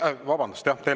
Vabandust!